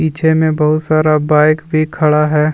पीछे में बहुत सारा बाइक भी खड़ा है।